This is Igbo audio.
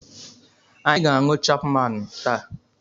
Anyị ga-aṅụ Chapmaanụ taa.